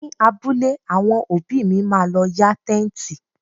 Ní abúlé, àwọn òbí mi má lọ yá Tẹ́ǹtì.